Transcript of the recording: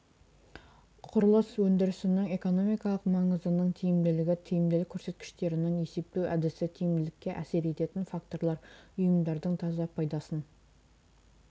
құрылыс өндірісінің экономикалық маңызының тиімділігі тиімділік көрсеткіштерінің есептеу әдісі тиімділікке әсер ететін факторлар ұйымдардың таза пайдасын